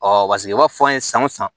paseke u b'a fɔ an ye san o san